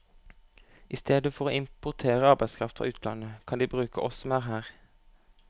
I stedet for å importere arbeidskraft fra utlandet, kan de bruke oss som er her.